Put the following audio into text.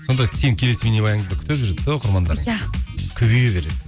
сонда сенің келесі бейнебаяныңды күтіп жүреді де оқырмандар иә көбейе береді